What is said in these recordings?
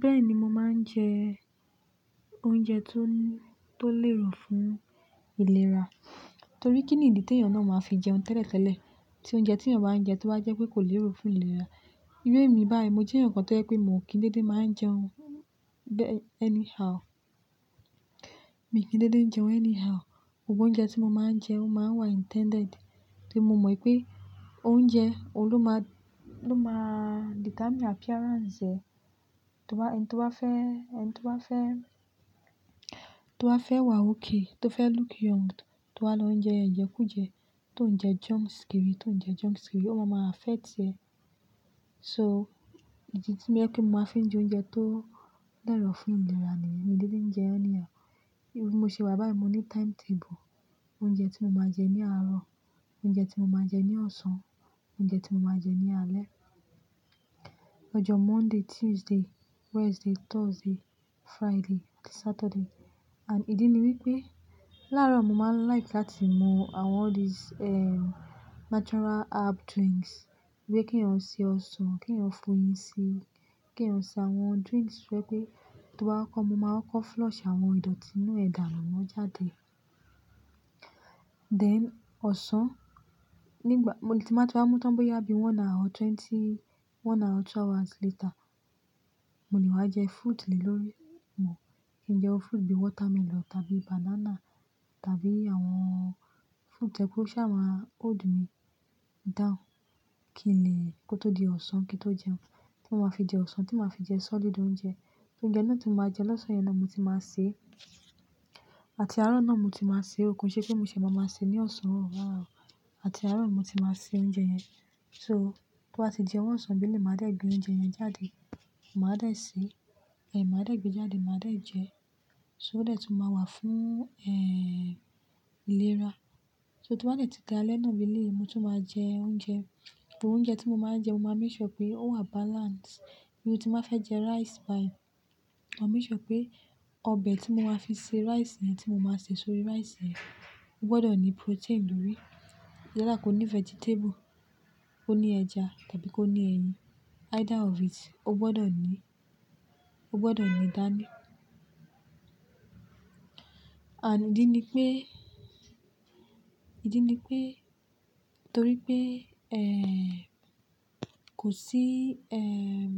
Bẹ́ẹ̀ni, mo máa ń jẹ oúnjẹ tó, tó lérò fún ìlera. Nítorí kí ni ìdí tí èèyàn náà máa fi jẹun tẹ́lẹ̀tẹ́lẹ̀? Tí oúnjẹ tí èèyàn bá ń jẹ tó bá jẹ́ pé kò lérò fún ìlera. Irú ẹ mi báyìí, mo jẹ́ èèyàn kan tó jẹ́ pé mo ò kí dédé máa ń jẹun bẹ́-- anyhow. Mi ò kí dédé ń jẹun anyhow. Gbogbo oúnjẹ tí mo máa ń jẹ ó máa ń wà intended. Torí mo mọ ì pé oúnjẹ òun máa, ló máa determine appearance ẹ. Tó bá, ẹni tó bá fẹ́, ẹni tó bá fẹ́, tó fẹ́ wà okay, tó fẹ́ look young, tó bá lọ jẹ ẹjẹ kú jẹ, tó ń jẹ junks kiri, tó ń jẹ junks kiri, ó máa máa affect ẹ. So, ìdí tí ó máa ń mú kí mo fi máa ń jẹ oúnjẹ tó lérò fún ìlera ni mi ò kí dédé ń jẹun anyhow. Irú mo ṣe wà báyìí, mo ní timetable. Oúnjẹ tí mo máa jẹ ní àárọ̀, oúnjẹ tí mo máa jẹ ní ọ̀sán, oúnjẹ tí mo máa jẹ ní alẹ́. Lọ́jọ́ Monday, Tuesday, Wednesday, Thursday, Friday, Saturday. And ìdí ni wípé láàárọ̀ mo máa ń like láti mú àwọn all this, ehm, natural herb drinks. Gbé kí ń ó ṣe ọsàn, kí ń ó fún yin si, kí ń ó ṣe àwọn drinks wípé tó bá kọ́, mo máa kọ́ flush àwọn ìdọ̀tí inú ẹ̀dà nù náà jáde. Then ọ̀sán, nígbà, mo lè ti máa ti bá mú tán bóyá bí one hour twenty, one hour two hours later, mo ní wàá jẹ fruit lélórí mọ̀. Kí ń jẹ́ fruit bí watermelon tàbí banana tàbí àwọn fruit ẹ́ pé ó sì máa hold mi down. Kí lè kó tó di ọ̀sán kí n tó jẹun. Kí ó máa fi dì ọ̀sán tí màá fi jẹ sọ́lidí òúnjẹ. Torí oúnjẹ náà tí mo máa jẹ lọ́sàn-án yẹn náà mo ti máa sè. Àti àárọ̀ náà mo ti máa sè. Ó kún ṣé pé mo ṣì máa ma sè ní ọ̀sán náà. Àti àárọ̀ mi mo ti máa sè oúnjẹ yẹn. So, tó bá ti jẹun wọ̀nsàn bílí, màá dé gbé oúnjẹ yẹn jáde. Màá dé sè, eh, màá dé gbé jáde, màá dé jẹ. So ó dẹ̀ tún máa wà fún, eh, ìlera. So tó bá tẹ̀ti dáalẹ́ náà beleyi, mo tún máa jẹ oúnjẹ. Òúnjẹ tí mo máa ń jẹ, mo máa ń rí ṣọ pé ó wà balanced. Bí mo tí màá fẹ́ jẹ rice báyìí, màá rí ṣọ pé ọbẹ̀ tí mo máa fi se rice yẹn tí mo máa se sórí rice yẹn, ó gbọdọ̀ ní protein lórí. Ṣé láì kó ní vegetable kó ní ẹja tàbí kó ní ẹyin. Either of it ó gbọdọ̀ ní, ó gbọdọ̀ ní ìdáná. And ìdí ni pé, ìdí ni pé torí pé, eh, kò sí, ehm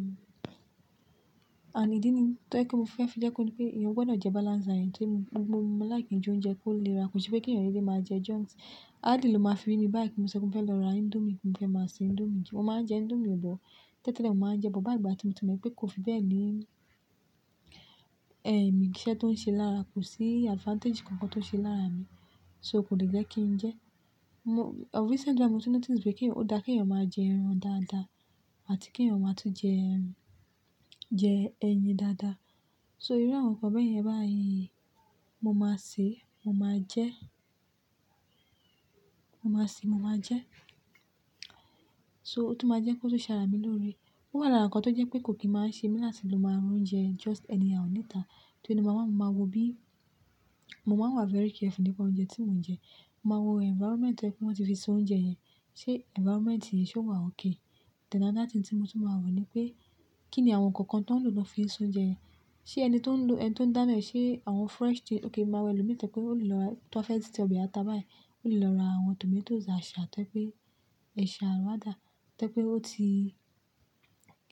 And ìdí ni tó ẹ́ pé mo fẹ́ fi jẹ kó ni pé èèyàn gbọdọ̀ jẹ balanced diet. Torí mo, mo, mo like jí oúnjẹ kó lè ra. Kò ṣe pé kí èèyàn dédé máa jẹ junk. Áàdí ló máa firí ní báyìí kí mo ṣe kún fẹ́ lọ ra indomie kí n fẹ́ máa se indomie kí mo máa jẹ indomie bọ̀. Tẹ́lẹ̀tẹ́lẹ̀ mo máa ń jẹ́ bọ̀, báyìí ìgbà tí mo ti mọ̀ pé kó fi bẹ́ẹ̀ ní, eh, mi iṣẹ́ tó ń ṣe lára, kò sí advantage kan kan tó ṣe lára mi. So kò le jẹ́ kí n jẹ. Mo-- recently là mo ti notice pé kí, ó da kí èèyàn máa jẹ ẹran dáadáa àti kí èèyàn máa tún jẹ ẹran, jẹ ẹyin dáadáa. So irú àwọn nǹkan bẹ́ẹ̀ yẹn báyìí, mo máa sè, mo máa jẹ́. Mo máa sè, mo máa jẹ́. So ó tún máa jẹ́ kó tó ṣàrá mi lórí. Ó wà lára nǹkan tó jẹ́ pé kò kí máa ń ṣe mi lásìí ló máa ń rún jẹ just anyhow níta. Torí ẹni mó máa, mo máa wo bí, mo máa ń wà very careful nípa oúnjẹ tí mò ń jẹ. Mo máa wo environment ẹ́ pé wọ́n ti fi ṣe oúnjẹ yẹn. Sé environment yẹn ṣé wà okay? Then another thing tí mo tún máa wo ni pé kí ni àwọn nǹkan kan tí wọ́n lò lọ́ fi ṣe oúnjẹ yẹn. Sé ẹni tó ń lò, ẹni tó ń dáná, ṣe àwọn fresh tí ó kì í máa wẹ lọ́wọ́. Bí i tẹlẹ pé ó lọ́ lọ ra, tó bá fẹ́ tì ọbẹ̀ ata báyìí, ó lọ́ lọ ra àwọn tomatoes àṣà tẹ́lẹ̀ pé ẹ̀ ṣà ló dá. Tẹ́lẹ̀ pé ó ti,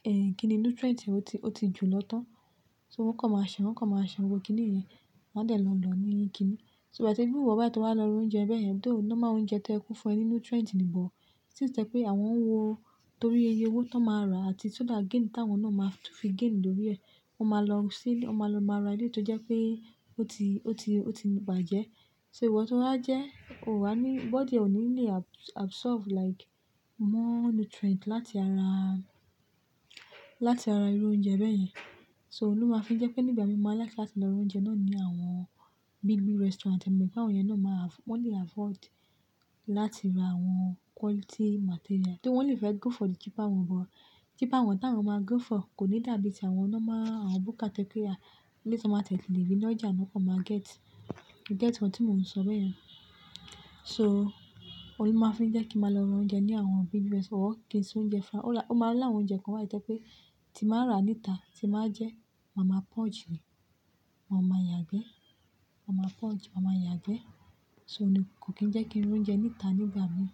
eh, kí ni nutrient ó ti, ó ti jù lọ tán. So wọ́n kàn máa ṣàn, wọ́n kàn máa ṣàn, gbogbo kí ni yẹn máa tẹ̀ lọ́ lọ níyí kí ni. So ìgbà tí iwú ìwọ̀ bá ti wá lọ rú oúnjẹ bẹ́ẹ̀ yẹn, ó dé ọ̀nà máa ń jẹ oúnjẹ tó ẹkún fún ẹ ní nutrient ní ìbọ̀. Tí ó tẹ́lẹ̀ pé àwọn wo torí ẹyẹ owó tó máa rà àti so that gain tí àwọn náà máa tún fi gain lórí ẹ̀. Wọ́n máa lọ sí, wọ́n máa lọ, máa ra létí tó jẹ́ pé ó ti, ó ti, ó ti bàjẹ́. So ìwọ tó bá jẹ́, o ò wà ní, body ò ní lè abs-absorb like more nutrient láti ara, láti ara irú oúnjẹ bẹ́ẹ̀ yẹn. So ó ló máa fi ń jẹ́ pé nígbà mìí mo máa like láti lọ rú oúnjẹ náà ní àwọn big, big restaurant. Èmi mọ̀ pé àwọn yẹn náà máa have-- wọ́n lè afford láti ra àwọn quality material. Torí wọ́n lè fẹ́ go for the cheaper one, but cheaper one táwọn máa go for kò ní dàbí ti àwọn ọ́nọ́ máa, àwọn buka toyẹ pé a létí wọ́n máa tẹ́tè lè rí ní ọjà náà kó máa get. You get what tí mo n sọ bẹ́ẹ̀ yẹn? So, ó ló máa fi ń jẹ́ kí màá lọ ra oúnjẹ ní àwọn big restaurant or kí n sè oúnjẹ fún-- ó là, ó máa ń là oúnjẹ kan wá tẹ́lẹ̀ pé tí màá rà níta, tí màá jẹ́, màá máa poach ni. Wọn máa yàn ẹgbẹ́. Màá máa poach, màá máa yàn ẹgbẹ́. So kò kí ń jẹ́ kí n rú oúnjẹ níta nígbà mìí.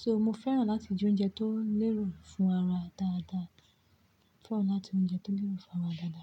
So mo fẹ́ràn láti jí oúnjẹ tó lérò fún ara dáadáa. Fẹ́ràn láti jí oúnjẹ tó lérò fún ara dáadáa.